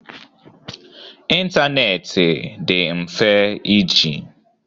Ịntanetị dị mfe iji.